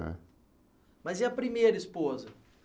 É. Mas e a primeira esposa?